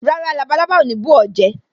Rárá, labalábá ò ní bù ó jẹ